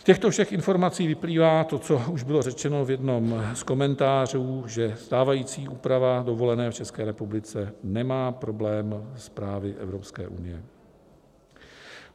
Z těchto všech informací vyplývá to, co už bylo řečeno v jednom z komentářů, že stávající úprava dovolené v České republice nemá problém s právy Evropské unie.